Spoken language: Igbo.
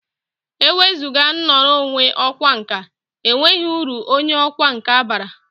Ewezụga ngwọrụ onye ọkwa nka, e nweghi uru onye ọkwa nka bara.